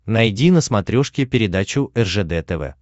найди на смотрешке передачу ржд тв